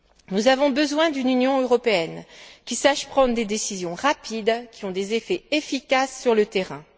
Nous avons besoin d'une Union européenne qui sache prendre des décisions rapides qui ont des effets efficaces sur le terrain.